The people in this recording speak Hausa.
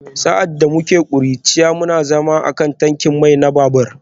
Sa’ad da muke ƙuruciya, muna zama a kan tankin mai na babur